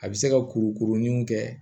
A bɛ se ka kurukuru niw kɛ